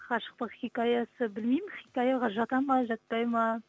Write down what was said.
ғашықтық хикаясы білмеймін хикаяға жатады ма жатпайды ма